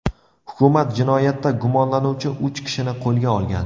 Hukumat jinoyatda gumonlanuvchi uch kishini qo‘lga olgan.